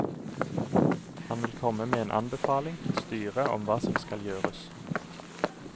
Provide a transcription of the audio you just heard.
Han vil komme med en anbefaling til styret om hva som skal gjøres.